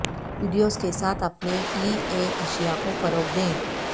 videos کے ساتھ اپنے ای بے اشیا کو فروغ دیں